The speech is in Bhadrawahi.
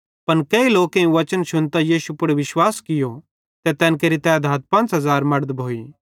पन केही लोकेईं वचन शुन्तां यीशु पुड़ विश्वास कियो ते तैन केरि तैधात 5000 मड़द भोइ